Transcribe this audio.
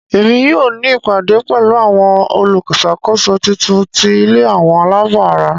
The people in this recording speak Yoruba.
Emi yoo ni ìpàdé pẹ̀lu àwon olúṣàkóso titun ti ilé àwọn aláàbò ara.